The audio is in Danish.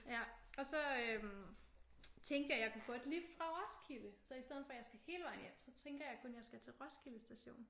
Ja. Og så tænkte jeg at jeg kunne få et lift fra Roskilde. Så i stedet for at jeg skal hele vejen hjem så tænker jeg at jeg kun skal til Roskilde station